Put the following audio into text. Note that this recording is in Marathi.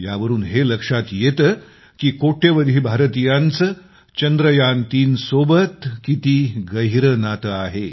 यावरून हे लक्षात येते की कोट्यवधी भारतीयांचं चंद्रयान3 सोबत किती गहिरं नातं आहे